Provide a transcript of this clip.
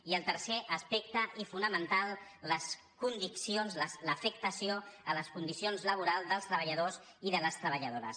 i el tercer aspecte i fonamental les conviccions l’afectació a les condicions laborals dels treballadors i de les treballadores